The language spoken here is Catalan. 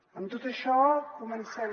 amb tot això comencem